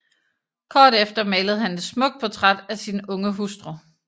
Kort efter malede han et smukt portræt af sin unge hustru